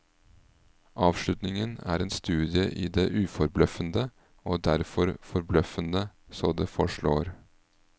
Avslutningen er en studie i det uforbløffende, og derfor forbløffende så det forslår.